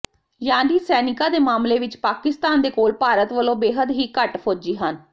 ਯਾਨੀ ਸੈਨਿਕਾਂ ਦੇ ਮਾਮਲੇ ਵਿੱਚ ਪਾਕਿਸਤਾਨ ਦੇ ਕੋਲ ਭਾਰਤ ਵਲੋਂ ਬੇਹੱਦ ਹੀ ਘੱਟ ਫੌਜੀ ਹਨ